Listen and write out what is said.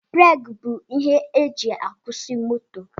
Breeki bụ ihe e ji akwusi moto